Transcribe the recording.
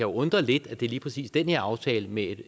undre lidt at det lige præcis er den her aftale med